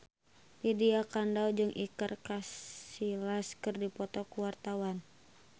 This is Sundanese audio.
Lydia Kandou jeung Iker Casillas keur dipoto ku wartawan